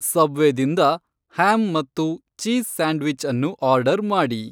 subway ದಿಂದ ham ಮತ್ತು cheese sandwich ಅನ್ನು ಆರ್ಡರ್ ಮಾಡಿ